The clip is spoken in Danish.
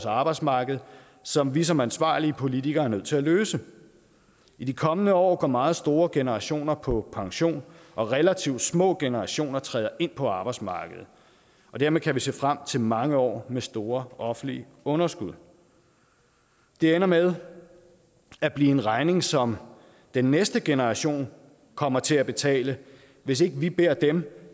arbejdsmarkedet som vi som ansvarlige politikere er nødt til at løse i de kommende år går meget store generationer på pension og relativt små generationer træder ind på arbejdsmarkedet og dermed kan vi se frem til mange år med store offentlige underskud det ender med at blive en regning som den næste generation kommer til at betale hvis ikke vi beder dem